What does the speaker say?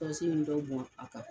in dɔ bɔn a kan.